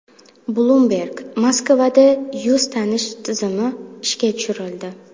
Bloomberg: Moskvada yuz tanish tizimi ishga tushirildi.